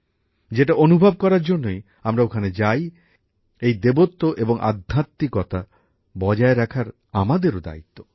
যেটা অনুভব করার জন্যই আমরা ওখানে যাই এই দেবত্ব এবং আধ্যাত্মিককতা বজায় রাখার আমাদেরও দায়িত্ব